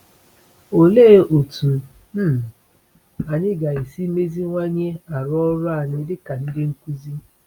Olee otú um anyị ga-esi meziwanye arụ ọrụ anyị dịka ndị nkuzi?